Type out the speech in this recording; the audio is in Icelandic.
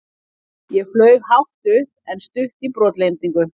Ég flaug hátt upp en stutt í brotlendingu.